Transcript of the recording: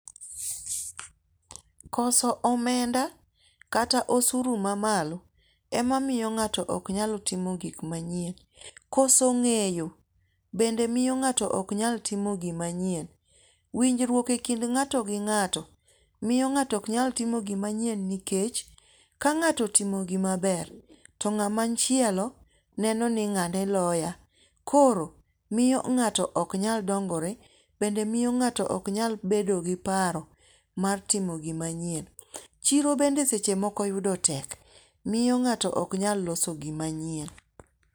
Koso omenda kata osuru ma malo emomiyo ng'ato ok nyal timo gik machien. Koso ng'eyo bende miyo ng'ato ok nyal timo gima chien. Winjruok e kind ng'ato gi ng'ato miyo ng'ato ok nyal timo gima nyien nikech ka ng'ato timo gima ber to ng'ama chielo neno ni ng'ane loya. Koro miyo ng'ato ok nyal dongore. Bende miyo ng'ato ok nyal bedo gi paro mar timo gima nyien. Chiro bende seche moko yudo tek. Miyo ng'ato ok nyal loso gima nyien.